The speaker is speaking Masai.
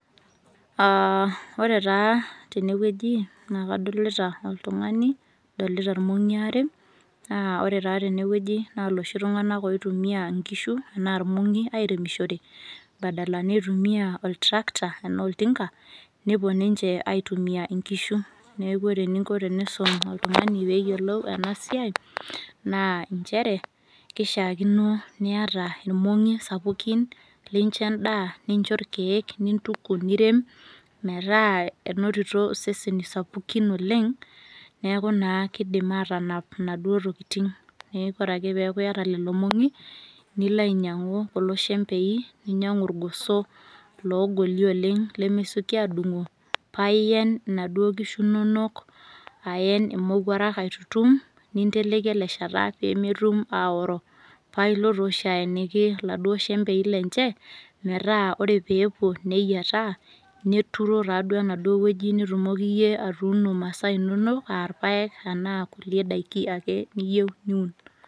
Aa, ore taa tenewueji naa kadolta oltungani , nadolita irmongi aare , naa ore taa tenewueji naa loshi tunganak loitumia nkishu anaa irmongi airemishore badala nitumia oltractor enaa oltinka, nepuo ninche aitumia nkishu, neeku ore eninko pisum oltungani peyiolou ena siai naa nchere kishaakino niata irmongi sapukin lincho endaa , nincho irkiek , nintuku , nirem , metaa enotito seseni sapukin oleng neaku naa kidim atanap inaduo tokitin . Neeku ore ake peaku iyata lelo mongi , nilo ainyiangu kulo shembei , ninyiangu irgoso logoli oleng lemesioki adungo paa ien inaduo kisho inonok aen imowuarak aitutum , ninteleki ele shata pemetum aoro , paa ilo tooshi aeniki iladuo shembei lenche metaa ore peepuo neyietaa , neturo taaduo enaduo wueji nitumoki iyie atuuno masaa inonok aa irpaek anaa kulie daiki ake niyie niun.